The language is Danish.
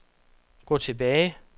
gå tilbage